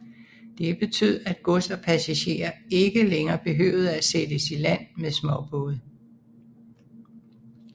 Det betød at gods og passagerer ikke længere behøvede at sættes i land med småbåde